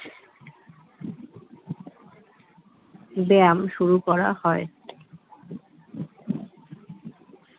ব্যায়াম শুরু করা হয়